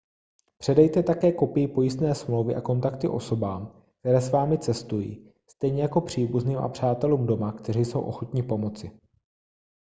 předejte také kopii pojistné smlouvy a kontakty osobám které s vámi cestují stejně jako příbuzným a přátelům doma kteří jsou ochotní pomoci